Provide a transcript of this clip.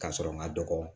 Ka sɔrɔ n ma dɔgɔ